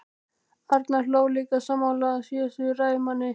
Arnar hló líka, sammála síðasta ræðumanni.